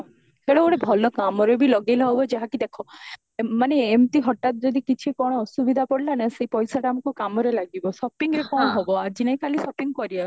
ତେଣୁ ଗୋଟେ ଭଲ କାମରେ ବି ଲଗେଇଲେ ହବ ଯାହା କି ଦେଖା ମାନେ ଏମତି ହଟାତ ଯଦି କିଛି କଣ ଅସୁବିଧା ପଡିଲା ନା ସେଇ ପଇସାଟା ଆମକୁ କାମରେ ଲାଗିବା shoppingରେ କଣ ହବ ଆଜି ନାହି କାଲି shopping କରିବା